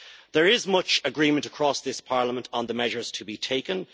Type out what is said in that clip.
There is much agreement across this Parliament on the measures to be taken.